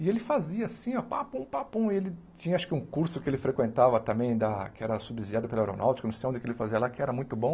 E ele fazia assim, ó, papum, papum, e ele tinha acho que um curso que ele frequentava também, da que era subsidiado pela aeronáutica, não sei onde que ele fazia lá, que era muito bom,